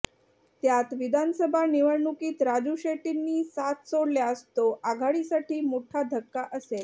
त्यात विधानसभा निवडणुकीत राजू शेट्टींनी साथ सोडल्यास तो आघाडीसाठी मोठा धक्का असेल